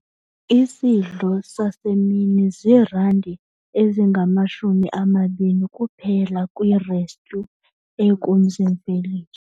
Isidlo sasemini ziirandi ezingamashumi amabini kuphela kwirestyu ekumzi-mveliso.